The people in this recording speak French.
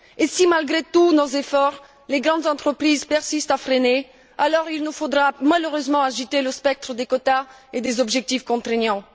Et si malgré tous nos efforts, les grandes entreprises persistent à freiner, alors il nous faudra malheureusement agiter le spectre des quotas et des objectifs contraignants.